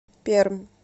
пермь